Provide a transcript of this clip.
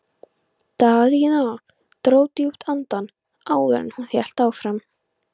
Daðína dró djúpt andann áður en hún hélt áfram.